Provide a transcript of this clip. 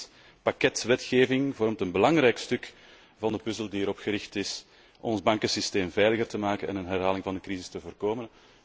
Dit pakket wetgeving vormt een belangrijk stuk van de puzzel die erop gericht is ons bankensysteem veiliger te maken en een herhaling van de crisis te voorkomen.